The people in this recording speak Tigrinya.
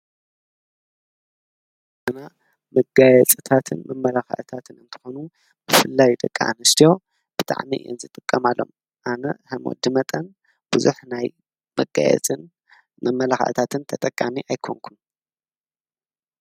መጋፂታትን መመላክዕታትን እንትኾኑ ብፍላይ ደቂ አንስትዮ ብጣዕሚ እየን ዝጥቀማለን አነ ከም ወዲ መጠን ብዙሕ ናይ መጋየፂን መመላክዒታትን ተጠቃሚ አይኮንኩን ።